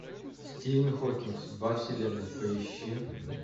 стивен хокинг судьба вселенной поищи